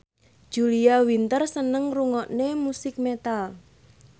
Julia Winter seneng ngrungokne musik metal